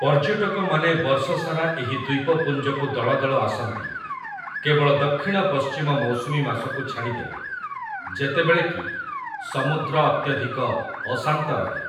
ପର୍ଯ୍ୟଟକମାନେ ବର୍ଷସାରା ଏହି ଦ୍ୱୀପପୁଞ୍ଜକୁ ଦଳଦଳ ଆସନ୍ତି, କେବଳ ଦକ୍ଷିଣ ପଶ୍ଚିମ ମୌସୁମୀ ମାସକୁ ଛାଡ଼ିଦେଲେ, ଯେତେବେଳେ କି ସମୁଦ୍ର ଅତ୍ୟଧିକ ଅଶାନ୍ତ ରହେ ।